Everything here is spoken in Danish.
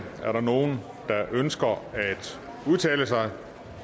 er der nogen der ønsker at udtale sig